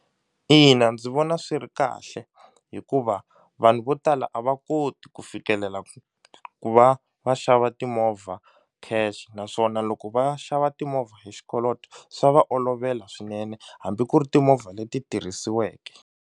Ina ndzi vona swi ri kahle hikuva vanhu vo tala a va koti ku fikelela ku va va xava timovha cash naswona loko va xava timovha hi xikoloto swa va olovela swinene hambi ku ri timovha leti tirhisiweke.